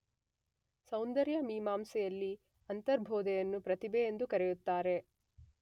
ಸೌಂದರ್ಯ ಮೀಮಾಂಸೆಯಲ್ಲಿ ಅಂತರ್ಬೋಧೆಯನ್ನು ಪ್ರತಿಭೆ ಎಂದು ಕರೆಯುತ್ತಾರೆ.